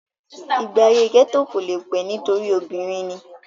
ìgbé ayé gẹ́tò kò le pé e nítorí obìnrin ni